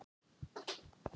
Hún skildi samhengið.